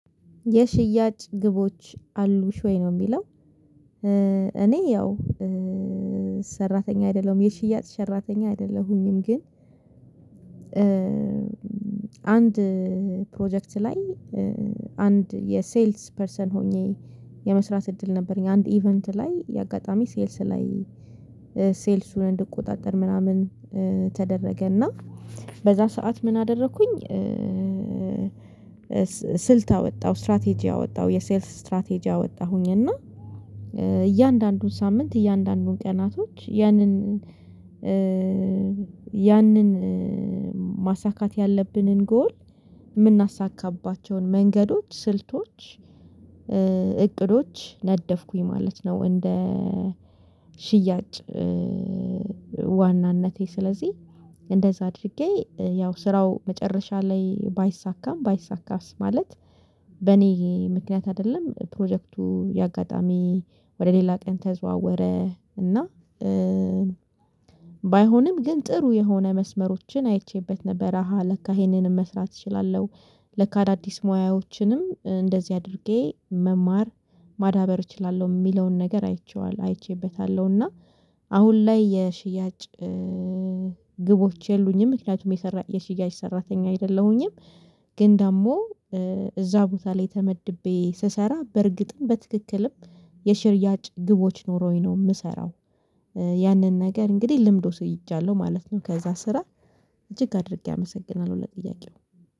የሽያጭ ግቦች አሉሽ ወይ ነው የሚለው? እኔ ያው ሰራተኛ አይደለሁም የሽያጭ ሰራተኛ አይደለሁኝም። ግን አንድ ፕሮጀክት ላይ አንድ የሴልስ ፐርሰን ሆኜ የመስራት እድል ነበረኝ አንድ ኢቨንት ላይ አጋጣሚ ሴልስ ላይ ሴልሱን እንድቆጣጠር ምናምን ተደረገ እና በዚያ ሰዓት ምን አደረኩኝ? ስልት አወጣው ስትራቴጂ አወጣው የሴልስ ስትራቴጂ አወጣሁኝ እና እያንዳንዱን ሳምንት እያንዳንዱን ቀናቶች ያንን ያንን ማሳካት ያለብንን ጎል የምናሳካባቸውን መንገዶች ስልቶች እቅዶች ነደፍኩኝ ማለት ነው። እንደ ሽያጭ ዋናነቴ ስለዚህ እንደዛ አድርጌ ያው ስራው መጨረሻ ላይ ባይሳካም ባይሳካም ማለት በእኔ ምክንያት አይደለም ፕሮጀክቱ የአጋጣሚ ወደ ሌላ ቀን ተዘዋወረ። እና ባይሆንም ግን ጥሩ የሆነ መስመሮችን አይቼበት ነበረ አሃ ለካ ይሄንንም መስራት እችላለሁ። ለካ አዳዲስ ሙያዎችንም እንደዚህ አድርጌ መማር ማዳበር እችላለሁ የሚለውን ነገር አይቼዋለሁ አይቼበታለሁ። እና አሁን ላይ የሽያጭ ግቦች የሉኝም ምክንያቱም የሰራ የሽያጭ ሰራተኛ አይደለሁኝም። ግን ደግሞ እዚያ ቦታ ላይ ተመድቤ ስሰራ በእርግጥም በትክክልም የሽያጭ ግቦች ኖሮኝ ነው የምሰራው። ያንን ነገር እንግዲህ ልምድ ወስጃለው ማለት ነው። ከዚያ ስራ እጅግ አድርጌ አመሰግናለሁ ለጥያቄው